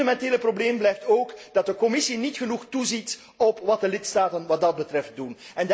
Het fundamentele probleem blijft ook dat de Commissie niet genoeg toeziet op wat de lidstaten wat dat betreft doen.